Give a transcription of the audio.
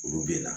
Olu bɛ na